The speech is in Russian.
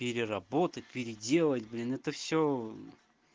переработать переделать блин это всё